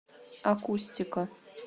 акустика